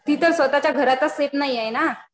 ती तर स्वतःच्या घराचं सेफ नाहीये ना.